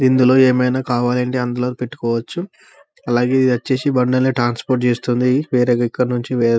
ఇందిలో ఏమైనా కావాలంటే అందులో పెట్టుకోవచ్చు అలాగే వచ్చేసి బండిలో అన్ని ట్రాన్స్పోర్ట్ చేస్తుంది వేరే దగ్గరనుంచి వేరే.